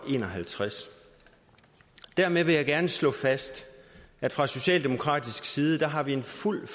en og halvtreds dermed vil jeg gerne slå fast at fra socialdemokratisk side har vi en fuld